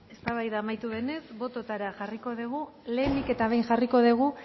isilunea eztabaida amaitu denez bototara jarriko dugu lehenik eta behin jarriko dugu